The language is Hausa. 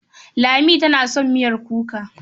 Lami tana son miyar kuka.